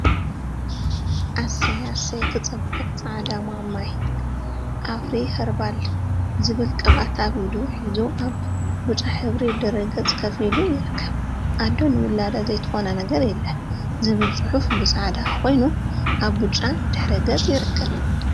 እሰይ! እሰይ! ክፅብቅ ፃዕዳ ማማይ አፍሪ ከርባል ዝበሃል ቅብአት አብ ኢዱ ሒዙ አብ ብጫ ሕብሪ ድሕረ ገፅ ኮፍ ኢሉ ይርከብ፡፡ አዶ ንዉላዳ ዘይትኾኖ ነገር የለን! ዝብል ፅሑፍ ብፃዕዳ ኮይኑ አብ ብጫ ድሕረ ገፅ ይርከብ፡፡